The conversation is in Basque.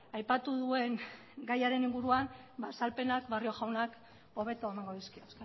aipatu duen gaiaren inguruan azalpenak barrio jaunak hobeto emango dizkio